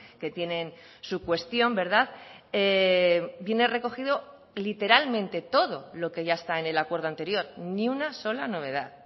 que tienen su cuestión viene recogido literalmente todo lo que ya está en el acuerdo anterior ni una sola novedad